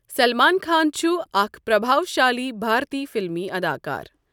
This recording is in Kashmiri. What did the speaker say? سلمان خان چھُ آكھ پرَبھاو شٰالی بھارتی فِلِمی اَداکار۔